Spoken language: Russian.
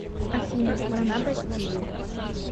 афина страна бастилия